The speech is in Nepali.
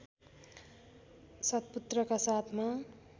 सत्पुत्रका साथमा